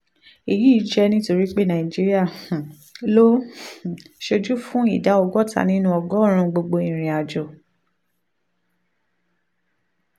èyí jẹ́ nítorí pé nàìjíríà um ló um ń ṣojú fún ìdá ọgọ́ta nínú ọgọ́rùn-ún gbogbo ìrìn àjò